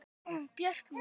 Björk mín.